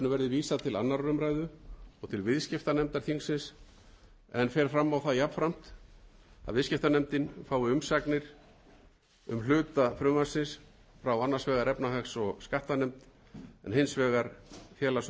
vísað til annarrar umræðu og til viðskiptanefndar þingsins en fer jafnframt fram á það að viðskiptanefnd fái umsagnir um hluta frumvarpsins frá annars vegar efnahags